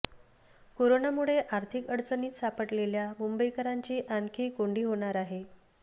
करोनामुळे आर्थिक अडचणीत सापडलेल्या मुंबईकरांची आणखी कोंडी होणार आहे